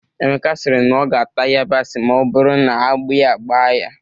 Emeka sịrị na ọ ga-ata yabasị ma ọ bụrụ na agbi a gbaa ya